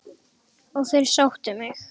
Og þeir sóttu mig.